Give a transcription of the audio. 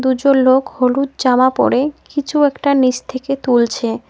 দুজন লোক হলুদ জামা পরে কিছু একটা নিস থেকে তুলছে।